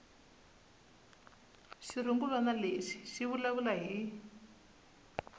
xirungulwana lexi xi vulavula hi